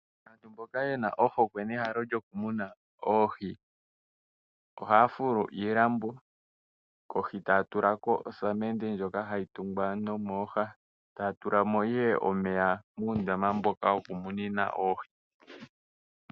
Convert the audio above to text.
Aantu mboka yena ohokwe nehalo lyokumuna oohi ohaya fulu iilambo kohi taya tulako ihe osamende ndjono hayi tungwa mooha taya tulamo omeya noohi.